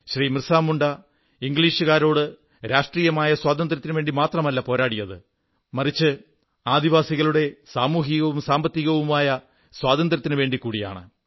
ബിർസാ മുണ്ടാ ഇംഗ്ളീഷുകാരോട് രഷ്ട്രീയമായ സ്വാതന്ത്ര്യത്തിനുവേണ്ടി മാത്രമല്ല പോരാടിയത് മറിച്ച് ആദിവാസികളുടെ സാമൂഹികവും സാമ്പത്തികവുമായ സ്വാന്ത്ര്യത്തിനു വേണ്ടിക്കൂടിയാണ്